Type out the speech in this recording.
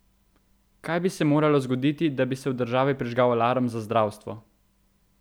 Kaj bi se moralo zgoditi, da bi se v državi prižgal alarm za zdravstvo?